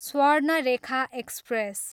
Swarnarekha express